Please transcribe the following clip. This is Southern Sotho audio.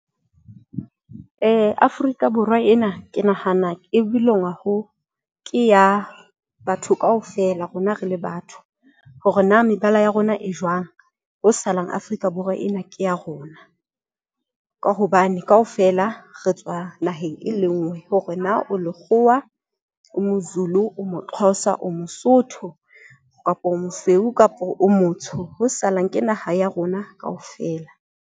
Afrika Borwa ena ke nahana e belong-a ho ke ya batho kaofela. Rona re le batho hore na mebala ya rona e jwang ho salang Afrika Borwa ena ke ya rona ka hobane kaofela re tswa naheng, e le nngwe hore na o lekgowa o Mozulu o Moxhosa, o Mosotho kapa o mosweu kapa o motsho ho salang ke naha ya rona kaofela.